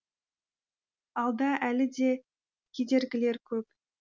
алда әлі де кедергілер көп